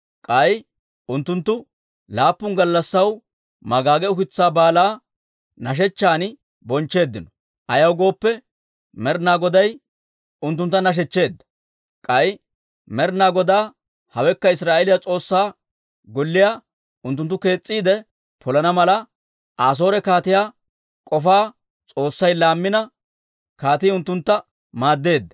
K'ay unttunttu laappun gallassaw magaage ukitsaa Baalaa nashechchan bonchcheeddino; ayaw gooppe, Med'inaa Goday unttunttu nashechcheedda; k'ay Med'ina Godaa, hewekka Israa'eeliyaa S'oossaa Golliyaa unttunttu kees's'iide polana mala, Asoore kaatiyaa k'ofaa S'oossay laammina, kaatii unttuntta maaddeedda.